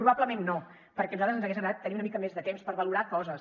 probablement no perquè a nosaltres ens hagués agradat tenir una mica més de temps per valorar coses